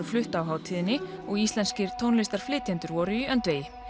flutt á hátíðinni og íslenskir tónlistarflytjendur voru í öndvegi